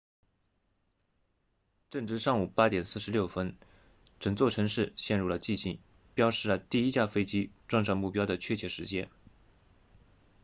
正值上午8点46分整座城市陷入了寂静标示了第一架飞机撞上目标的确切时间